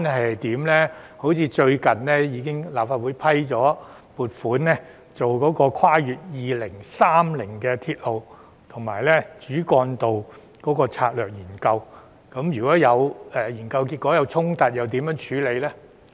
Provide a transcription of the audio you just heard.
例如，立法會最近已批出撥款，進行《跨越2030年的鐵路及主要幹道策略性研究》，如果研究結果有衝突，又如何處理呢？